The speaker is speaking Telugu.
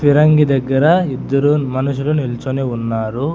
ఫిరంగి దగ్గర ఇద్దరు మనుషులు నిల్చుని ఉన్నారు.